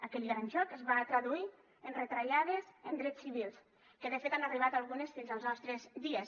aquell gran xoc es va traduir en retallades en drets civils que de fet han arribat algunes fins als nostres dies